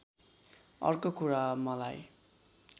अर्को कुरा मलाई